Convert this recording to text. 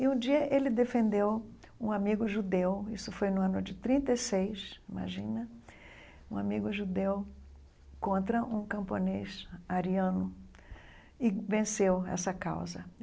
E um dia ele defendeu um amigo judeu, isso foi no ano de trinta e seis, imagina, um amigo judeu contra um camponês ariano e venceu essa causa.